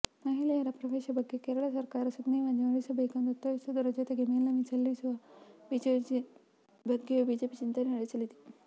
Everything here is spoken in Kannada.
ಮಹಿಳೆಯರ ಪ್ರವೇಶ ಬಗ್ಗೆ ಕೇರಳ ಸರ್ಕಾರ ಸುಗ್ರೀವಾಜ್ಞೆ ಹೊರಡಿಸಬೇಕೆಂದು ಒತ್ತಾಯಿಸುವುದರ ಜತೆಗೆ ಮೇಲ್ಮನವಿ ಸಲ್ಲಿಸುವ ಬಗ್ಗೆಯೂ ಬಿಜೆಪಿ ಚಿಂತನೆ ನಡೆಸಲಿದೆ